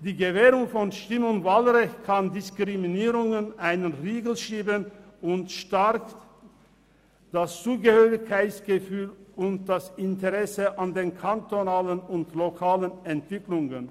Die Gewährung von Stimm- und Wahlrecht kann Diskriminierungen einen Riegel schieben und stärkt das Zugehörigkeitsgefühl und das Interesse an den kantonalen und lokalen Entwicklungen.